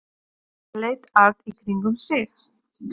Hann leit allt í kringum sig.